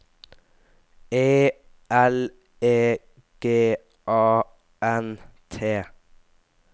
E L E G A N T